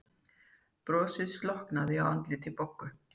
Brosið slokknaði á andliti Boggu.